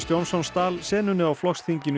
Johnson stal senunni á flokksþinginu